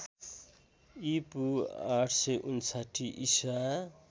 ईपू ८५९ ईसा